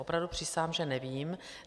Opravdu přísahám, že nevím.